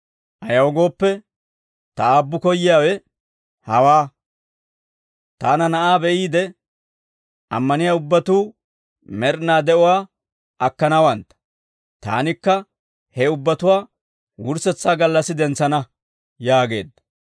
Ayaw gooppe, ta Aabbu koyyiyaawe hawaa; taana Na'aa be'iide, ammaniyaa ubbatuu med'inaa de'uwaa akkanawantta; taanikka he ubbatuwaa wurssetsaa gallassi dentsana» yaageedda.